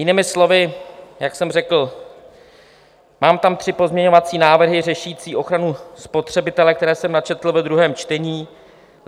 Jinými slovy, jak jsem řekl, mám tam tři pozměňovací návrhy řešící ochranu spotřebitele, které jsem načetl ve druhém čtení.